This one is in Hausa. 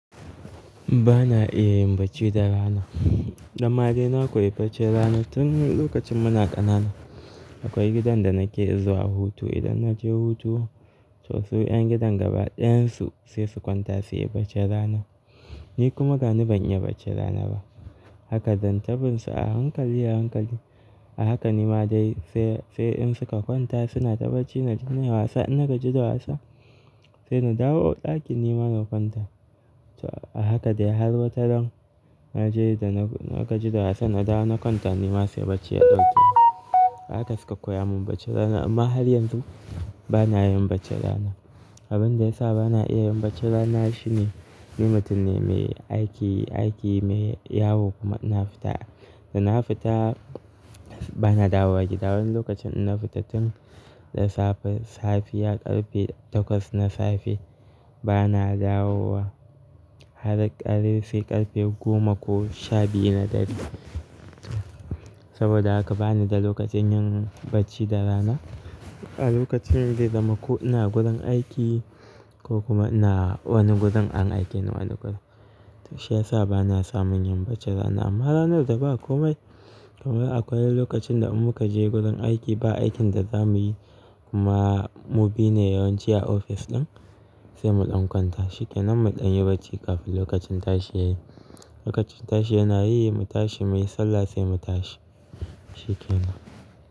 Ba na iya yin bacci da rana. Da ma dai na koya bacci rana tun lokacin muna ƙanana. Akwai gidan da nake zuwa hutu. Idan na je hutu, to su 'yan gidan gaba ɗayansu sai su kwanta su yi bacci rana. Ni kuma dani ban yi bacci rana ba. Haka dan tabin su a hankali a hankali. A haka ni ma dai sai, sai in suka kwanta suna ta bacci, na ji na yi wasa. In na gaji da wasa sai na dawo ɗakin ni ma na kwanta. To a haka dai har watan nan na je da na gaji da wasa na dawo na kwanta. Ni ma sai bacci ya ɗauke ni. Haka suka koya mun bacci rana. Amma har yanzu ba na yin bacci rana. Abin da ya sa ba na iya yin bacci rana shine ni mutum ne mai aiki, aiki mai yawo kuma ina fita. Da na fita ba na dawowa gida. Wani lokacin ina fita tun da safe, safiya, ƙarfe takwas na safe ba na dawowa har ƙarfe sai ƙarfe goma ko shabiyu na dare. Saboda haka bani da lokacin yin bacci da rana. A lokacin da zamaku ina gudan aiki ko kuma ina wani gudun an aike ni wani guda. To shi ya sa ba na samun yin bacci rana. Amma ranar da ba komai kamar akwai lokacin da muka je gudan aiki ba aikin da za muyi kuma mu bi ne yawanci a ofis ɗin sai mu ɗan kwanta shikenan, mu ɗan yi bacci kafin lokacin tashi yayi. Lokacin tashi yana yi mu tashi, muyi sallah sai mu tashi shikenan.